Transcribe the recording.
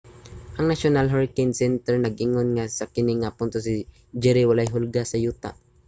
ang national hurricane center nhc nag-ingon nga sa kini nga punto si jerry walay hulga sa yuta